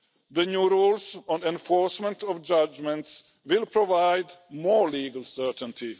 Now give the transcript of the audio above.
The new rules on enforcement of judgments will provide more legal certainty.